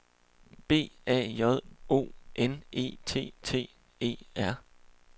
B A J O N E T T E R